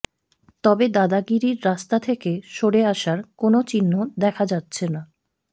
তবে দাদাগিরির রাস্তা থেকে সরে আসার কোনও চিহ্ন দেখা যাচ্ছে না